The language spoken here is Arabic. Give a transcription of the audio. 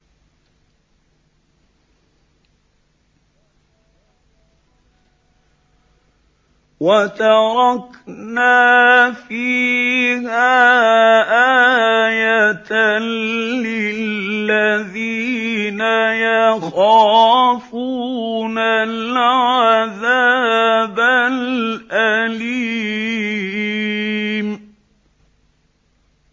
وَتَرَكْنَا فِيهَا آيَةً لِّلَّذِينَ يَخَافُونَ الْعَذَابَ الْأَلِيمَ